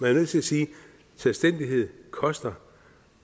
er nødt til at sige at selvstændighed koster